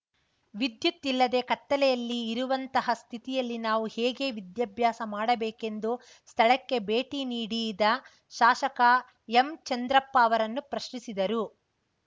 ವಿದ್ಯುತ್‌ ಇಲ್ಲದೆ ಕತ್ತಲೆಯಲ್ಲಿ ಇರುವಂತಹ ಸ್ಥಿತಿಯಲ್ಲಿ ನಾವು ಹೇಗೆ ವಿದ್ಯಾಭ್ಯಾಸ ಮಾಡಬೇಕೆಂದು ಸ್ಥಳಕ್ಕೆ ಭೇಟಿ ನೀಡಿದ ಶಾಸಕ ಎಂಚಂದ್ರಪ್ಪ ಅವರನ್ನು ಪ್ರಶ್ನಿಸಿದರು